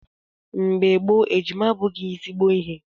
Mgbe gboo, ejima abụghị ezigbo ihe.